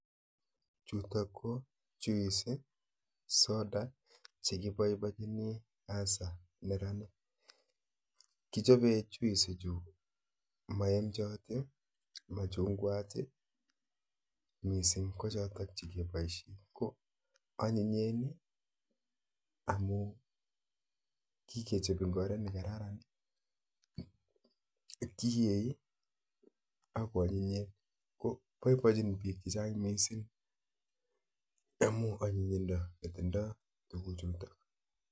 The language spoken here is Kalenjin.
Chuu KO.(Juice)anyinyeen amun kikechop Eng oret negararan poipachin piik chechang amun anyinyinda netindoi